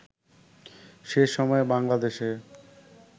সে সময়ে বাঙলা দেশে